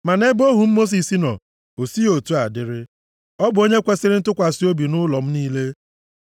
Ma nʼebe ohu m Mosis nọ, o sighị otu a dịrị, ọ bụ onye kwesiri ntụkwasị obi nʼụlọ m niile.